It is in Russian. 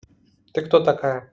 ты кто такая